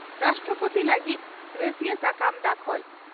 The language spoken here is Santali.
ᱨᱟᱥᱴᱨᱚᱯᱳᱛᱤ ᱞᱟᱹᱜᱤᱫ ᱨᱟᱹᱥᱤᱭᱟᱹ ᱥᱟᱠᱟᱢ ᱫᱟᱠᱷᱚᱞ